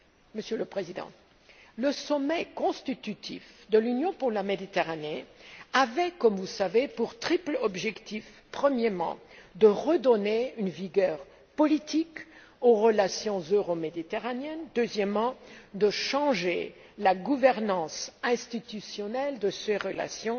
Monsieur le Président, le sommet constitutif de l'Union pour la Méditerranée avait, comme vous le savez, pour triple objectif de redonner une vigueur politique aux relations euro méditerranéennes, de changer la gouvernance institutionnelle de ces relations